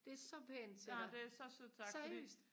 det er så pænt til dig seriøst